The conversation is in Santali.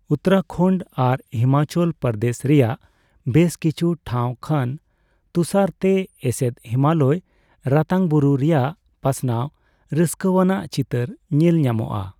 ᱩᱛᱛᱚᱨᱟᱠᱷᱚᱱᱰ ᱟᱨ ᱦᱤᱢᱟᱪᱚᱞ ᱯᱨᱚᱫᱮᱥ ᱨᱮᱭᱟᱜ ᱵᱮᱥ ᱠᱤᱪᱷᱩ ᱴᱷᱟᱣ ᱠᱷᱚᱱ ᱛᱩᱥᱟᱨ ᱛᱮ ᱮᱥᱮᱫ ᱦᱤᱢᱟᱞᱚᱭ ᱨᱟᱛᱟᱝᱵᱩᱨᱩ ᱨᱮᱭᱟᱜ ᱯᱟᱥᱱᱟᱣ ᱨᱟᱹᱥᱠᱟᱹᱣᱟᱱᱟᱜ ᱪᱤᱛᱟᱹᱨ ᱧᱮᱞᱧᱟᱢᱚᱜᱼᱟ ᱾